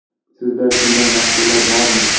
Sizda shunday mahsulot bormi?